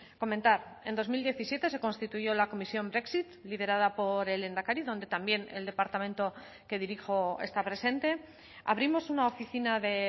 comentar en dos mil diecisiete se constituyó la comisión brexit liderada por el lehendakari donde también el departamento que dirijo está presente abrimos una oficina de